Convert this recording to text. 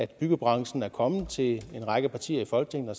byggebranchen er kommet til en række partier i folketinget og